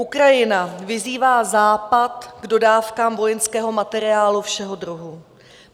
Ukrajina vyzývá Západ k dodávkám vojenského materiálu všeho druhu.